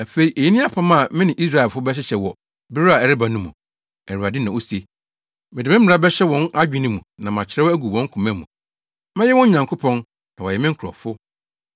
Afei eyi ne apam a me ne Israelfo bɛhyehyɛ wɔ bere a ɛreba no mu, Awurade na ose: Mede me mmara bɛhyɛ wɔn adwene mu na makyerɛw agu wɔn koma mu. Mɛyɛ wɔn Nyankopɔn na wɔayɛ me nkurɔfo.